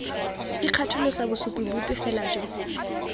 ikgatholosa bosupi bope fela jo